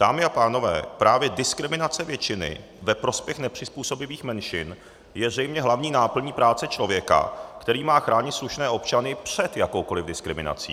Dámy a pánové, právě diskriminace většiny ve prospěch nepřizpůsobivých menšin je zřejmě hlavní náplní práce člověka, který má chránit slušné občany před jakoukoliv diskriminací.